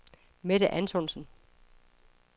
Mette Antonsen